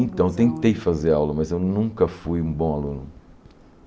Então, eu tentei fazer aula, mas eu nunca fui um bom aluno.